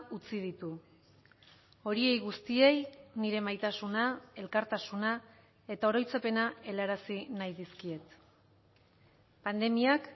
utzi ditu horiei guztiei nire maitasuna elkartasuna eta oroitzapena helarazi nahi dizkiet pandemiak